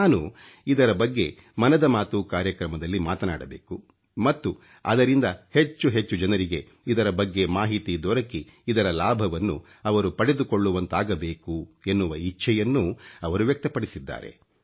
ನಾನು ಇದರ ಬಗ್ಗೆ ಮನದ ಮಾತು ಕಾರ್ಯಕ್ರಮದಲ್ಲಿ ಮಾತನಾಡಬೇಕು ಮತ್ತು ಅದರಿಂದ ಹೆಚ್ಚು ಹೆಚ್ಚು ಜನರಿಗೆ ಇದರ ಬಗ್ಗೆ ಮಾಹಿತಿ ದೊರಕಿ ಇದರ ಲಾಭವನ್ನು ಅವರು ಪಡೆದುಕೊಳ್ಳುವಂತಾಗಬೇಕು ಎನ್ನುವ ಇಚ್ಚೆಯನ್ನೂ ಅವರು ವ್ಯಕ್ತ ಪಡಿಸಿದ್ದಾರೆ